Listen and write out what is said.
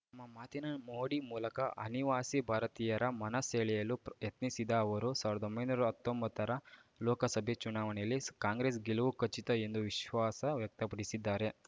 ಮ್ಮ ಮಾತಿನ ಮೋಡಿ ಮೂಲಕ ಅನಿವಾಸಿ ಭಾರತೀಯರ ಮನ ಸೆಳೆಯಲು ಯತ್ನಿಸಿದ ಅವರು ಎರಡ್ ಸಾವಿರ್ದಾ ಹತ್ತೊಂಬತ್ತರ ಲೋಕಸಭೆ ಚುನಾವಣೆಯಲ್ಲಿ ಕಾಂಗ್ರೆಸ್‌ ಗೆಲುವು ಖಚಿತ ಎಂದು ವಿಶ್ವಾಸ ವ್ಯಕ್ತಪಡಿಸಿದ್ದಾರೆ